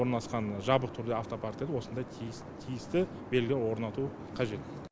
орналасқан жабық түрде автопарк дейд осындай тиіс тиісті белгілер орнатуы қажет